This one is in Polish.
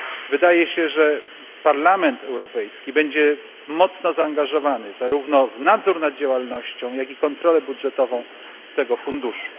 Wydaje się, że Parlament Europejski będzie mocno zaangażowany zarówno w nadzór nad działalnością, jak i w kontrolę budżetową tego funduszu.